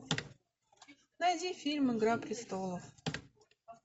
найди фильм игра престолов